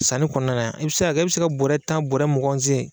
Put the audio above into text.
Sani kɔnɔna na, i bɛ se ka kɛ e bɛ se ka bɔrɛ tan bɔrɛ muganw sen!